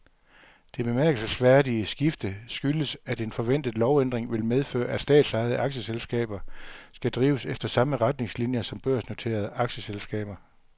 Det bemærkelsesværdige skifte skyldes, at en forventet lovændring vil medføre, at statsejede aktieselskaber skal drives efter samme retningslinier som børsnoterede aktieselskaber.